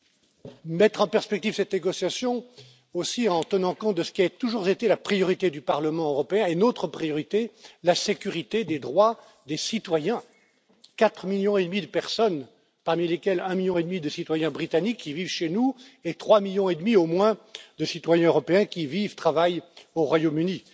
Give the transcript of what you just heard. Nous avons mis en perspective cette négociation en tenant compte aussi de ce qui a toujours été la priorité du Parlement européen et notre priorité, la sécurité des droits des citoyens. Quatre millions et demi de personnes parmi lesquelles un million et demi de citoyens britanniques qui vivent chez nous et trois millions et demi au moins de citoyens européens qui vivent et travaillent au Royaume